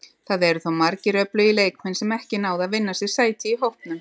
Það eru þó margir öflugir leikmenn sem ekki náðu að vinna sér sæti í hópnum.